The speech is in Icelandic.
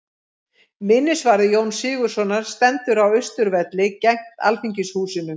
Minnisvarði Jóns Sigurðssonar stendur á Austurvelli, gegnt Alþingishúsinu.